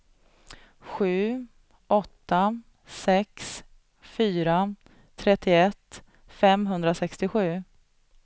sju åtta sex fyra trettioett femhundrasextiosju